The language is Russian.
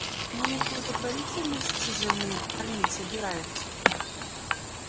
не из благотворительности же мы их кормить собираемся